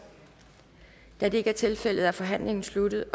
da det ikke er tilfældet er forhandlingen sluttet